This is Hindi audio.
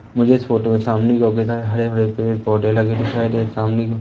मुझे इस फोटो के सामने हरे भरे पेड़ पौधे लगे दिखाई दे रहे सामने को।